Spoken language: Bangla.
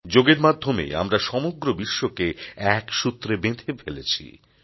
যোগের মাধ্যমে আমরা সমগ্র বিশ্বকে এক সূত্রে বেঁধে ফেলেছি